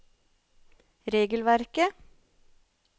regelverket